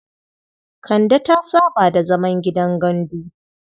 Kande ta saba da zaman gidan gandu.